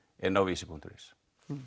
inni á Vísi punktur is